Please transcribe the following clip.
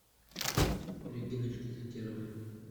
региночке закировой